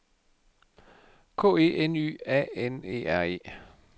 K E N Y A N E R E